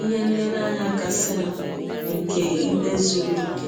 ihe nlereanya kasịnụ nke ikpe zụrụ ọkè.